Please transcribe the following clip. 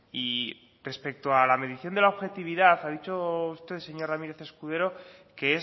y respecto a la medición de la objetividad ha dicho usted señor ramírez escudero que